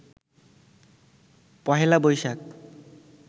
Pohela Boishakh